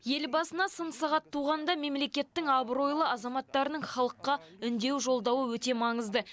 ел басына сын сағат туғанда мемлекеттің абыройлы азаматтарының халыққа үндеу жолдауы өте маңызды